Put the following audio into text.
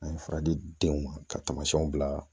An ye fura di denw ma ka taamaw bila